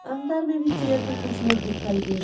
अंदर में भी चेयर पे कुछ लोग दिखाई दे रहे--